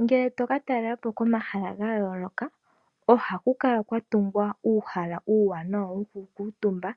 Ngele to ka talela po komahala ga yooloka, oha ku kala kwa tungwa uuhala uuwanawa wo ku kuutumba